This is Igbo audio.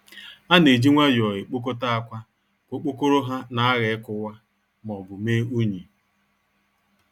A na-eji nwayọọ ekpokọta akwa ka okpokoro ha nagha ikuwa maọbu mee unyi.